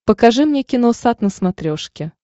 покажи мне киносат на смотрешке